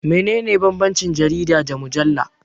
Meye bambancin jarida da mujalla?